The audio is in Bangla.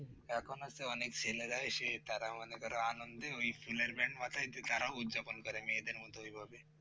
এখন হয়েছে অনেক ছেলেরা সে তারা মনে করো আনন্দে ওই ফুলের band মাথায় দিয়ে তারা উদযাপন করে মেয়েদের মত ঔভাবে